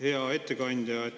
Hea ettekandja!